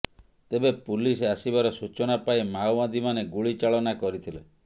ତେବେ ପୁଲିସ ଆସିବାର ସୂଚନା ପାଇ ମାଓବାଦୀମାନେ ଗୁଳି ଚାଳନା କରିଥିଲେ